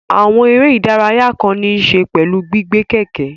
Àwọn eré ìdárayá kan ní í ṣe pẹ̀lú gbígbé kẹ̀kẹ́